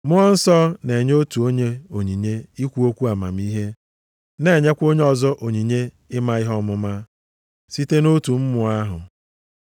Mmụọ Nsọ na-enye otu onye onyinye ikwu okwu amamihe, na-enyekwa onye ọzọ onyinye ịma ihe ọmụma, site nʼotu Mmụọ ahụ.